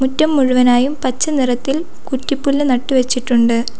മുറ്റം മുഴുവനായും പച്ച നിറത്തിൽ കുറ്റിപ്പുല്ല് നട വെച്ചിട്ടുണ്ട്.